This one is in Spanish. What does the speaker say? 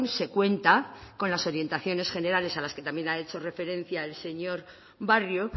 se cuenta con las orientaciones generales a las que también ha hecho referencia el señor barrio